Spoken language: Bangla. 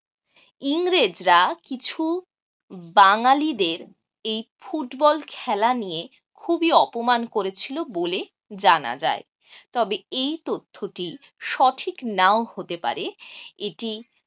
ইংরেজরা কিছু বাঙ্গালীদের এই ফুটবল খেলা নিয়ে খুবই অপমান করেছিল বলে জানা যায় তবে এই তথ্যটি সঠিক নাও হতে পারে এটি